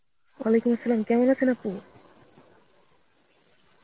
Arbi কেমন আছেন আপনি?